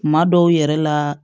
Kuma dɔw yɛrɛ la